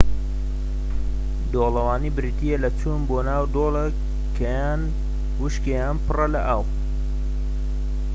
دۆڵەوانی بریتیە لە چوون بۆ ناو دۆڵێك کە یان وشکە یان پڕە لە ئاو